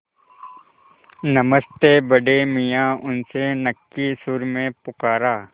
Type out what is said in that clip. नमस्ते बड़े मियाँ उसने नक्की सुर में पुकारा